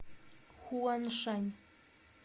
хуаншань